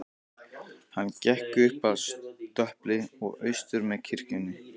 Hann gekk upp að stöpli og austur með kirkjunni.